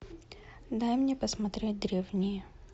дай мне посмотреть древние